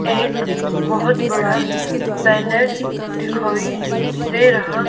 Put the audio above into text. एक बहोत बड़ा बैनर दिखाई दे रहा--